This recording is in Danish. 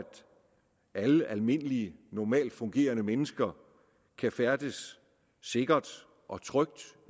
alle almindelige normalt fungerende mennesker kan færdes sikkert og trygt